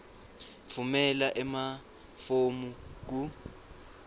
tfumela emafomu ku